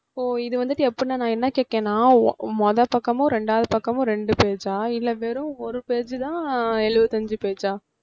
ஓ இது வந்துட்டு எப்படினா நான் என்ன கேட்கிறேனா மொ~ முதபக்கமும் ரெண்டாவது பக்கமும் ரெண்டு page ஆ இல்ல வெரும் ஒரு page தான் எழுபத்திஅஞ்சு page ஆ